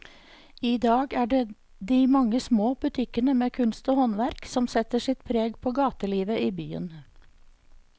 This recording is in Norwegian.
I dag er det de mange små butikkene med kunst og håndverk som setter sitt preg på gatelivet i byen.